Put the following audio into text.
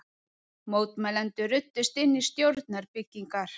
Mótmælendur ruddust inn í stjórnarbyggingar